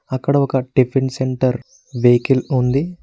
అక్కడ ఒక tiffin centre vehicle ఉంది.